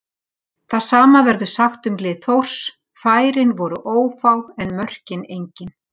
Það sama verður sagt um lið Þórs, færin voru ófá en mörkin engin.